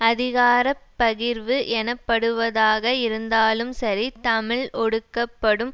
அதிகார பகிர்வு எனப்படுவதாக இருந்தாலும் சரி தமிழ் ஒடுக்கப்படும்